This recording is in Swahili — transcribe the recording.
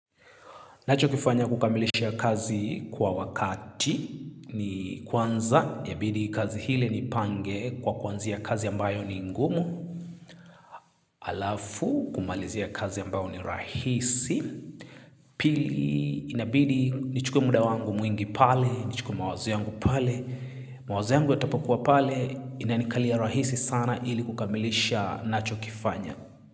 Nachokifanya kukamilisha kazi kwa wakati ni kwanza yabidi kazi hile nipange kwa kuanzia kazi ambayo ni ngumu. Alafu kumalizia kazi ambao ni rahisi. Pili inabidi nichukue muda wangu mwingi pale, nichukue mawazo yangu pale. Mawazo yangu yatapokuwa pale inanikalia rahisi sana ili kukamilisha nachokifanya.